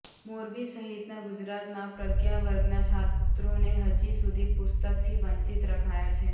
મોરબી સહિતના ગુજરાતમાં પ્રજ્ઞા વર્ગના છાત્રોને હજી સુધી પુસ્તકથી વંચિત રખાયા છે